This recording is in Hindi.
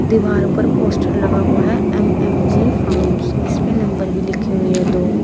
दीवार पर पोस्टर लगा हुआ है एम एम जी फॉर्म्स इस पे नंबर भी लिखी हुई है दो।